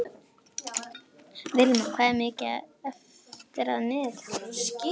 Vilma, hvað er mikið eftir af niðurteljaranum?